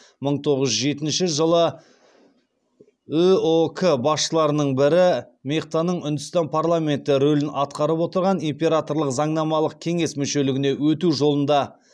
мың тоғыз жүз жетінші жылы үұк басшыларының бірі мехтаның үндістан парламенті рөлін атқарып отырған императорлық заңнамалық кеңес мүшелігіне өту жолында